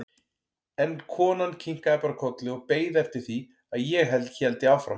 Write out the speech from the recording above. En konan kinkaði bara kolli og beið eftir því að ég héldi áfram.